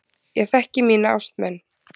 Ég þekki mína ástmenn.